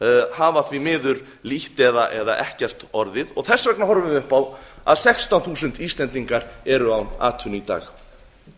hafa því miður lítt eða ekkert orðið og þess vegna horfum við upp á að sextán þúsund íslendingar eru án atvinnu í dag